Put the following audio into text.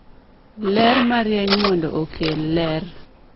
ler marieny mondo okel ler